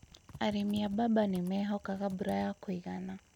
Arĩmi a mbamba nĩmehokaga mbura ya kũigana